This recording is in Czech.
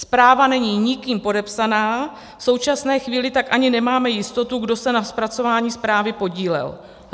Zpráva není nikým podepsána, v současné chvíli tak ani nemáme jistotu, kdo se na zpracování zprávy podílel.